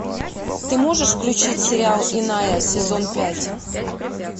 ты можешь включить сериал иная сезон пять